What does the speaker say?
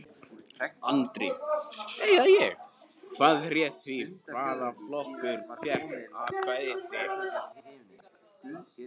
Andri: Hvað réð því hvaða flokkur fékk atkvæði þitt?